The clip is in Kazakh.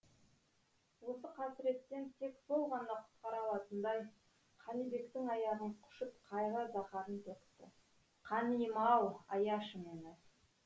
осы қасіреттен тек сол ғана құтқара алатындай қанибектің аяғын құшып қайғы заһарын төкті қаниым ау аяшы мені